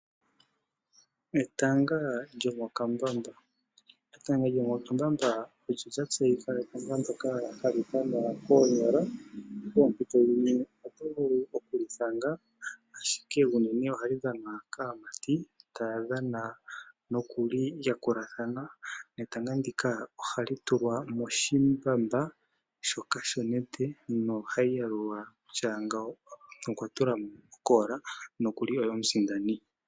Etanga lyomokambamba, etanga lyomokambamba olyo lya tseyika nawa hali dhanwa koonyala, poompito dhimwe oto vulu okuli thanga, ashike unene ohali dhanwa kaamati taya dhana nokulyi yakula dhana etanga ndika ohali tulwa moshimbamba shoka shonete, nohayi yalulwa kutya ngawo okwa tula mo okoola nokuli oye omusindani.